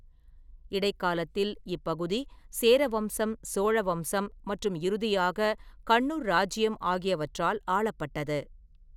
இடைக்காலத்தில், இப்பகுதி சேர வம்சம், சோழ வம்சம் மற்றும் இறுதியாக கண்ணூர் இராச்சியம் ஆகியவற்றால் ஆளப்பட்டது.